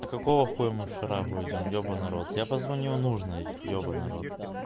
а какого хуя мы в шарагу идём ебаный рот я позвоню нужной ебаный в рот